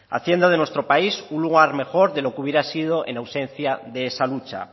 haciendo de nuestro país un lugar mejor de lo que hubiera sido en ausencia de esa lucha